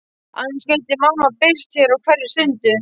Annars gæti mamma birst hér á hverri stundu.